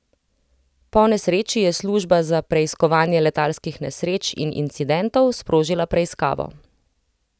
Po nesreči je služba za preiskovanje letalskih nesreč in incidentov sprožila preiskavo.